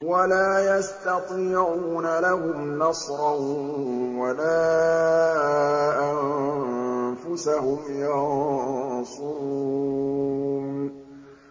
وَلَا يَسْتَطِيعُونَ لَهُمْ نَصْرًا وَلَا أَنفُسَهُمْ يَنصُرُونَ